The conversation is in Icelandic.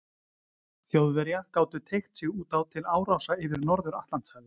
Þjóðverja gátu teygt sig út á til árása yfir Norður-Atlantshafi.